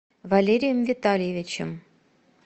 валерием витальевичем